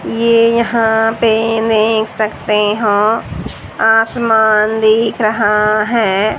ये यहां पे देख सकते हो आसमान दिख रहा है।